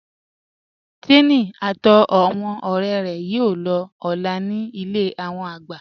Tèmi àti awọn ọ̀rẹ̀ rẹ̀ yóò lọ̀ ọ́lá ní ilẹ̀ awọn àgbà